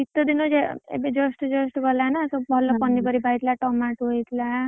ଶୀତ ଦିନ ଏବେ just just ଗଲା ନା ସବୁ ଭଲ ପନିପରିବା ହେଇଥିଲା, tomato ହେଇଥିଲା,